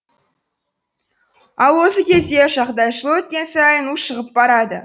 ал осы кезде жағдай жыл өткен сайын ушығып барады